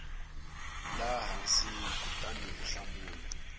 laha hansi kutani u hlamula